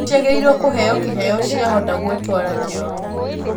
Nĩ ciagĩrĩiro kũheo kĩheo ciahota gwĩtwara kĩoro.